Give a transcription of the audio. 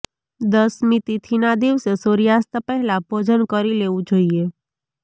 દસમી તિથિના દિવસે સૂર્યાસ્ત પહેલા ભોજન કરી લેવું જોઈએ